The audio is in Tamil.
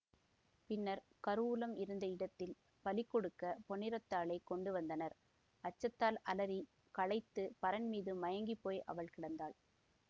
பின்னர் கருவூலம் இருந்த இடத்தில் பலி கொடுக்க பொன்னிறத்தாளைக் கொண்டுவந்தனர் அச்சத்தால் அலறி களைத்து பரண்மீது மயங்கிப்போய் அவள் கிடந்தாள்